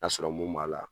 Ka sɔrɔ mun b'a la